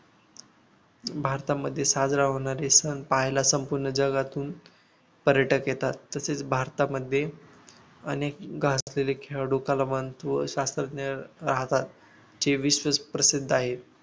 भारतामध्ये साजरा होणारे सण पाहायला संपूर्ण जगातून पर्यटक येतात तसेच भारतामध्ये अनेक गाजलेले खेळाडू कलावंत व शास्त्रज्ञ राहतात प्रसिद्ध आहे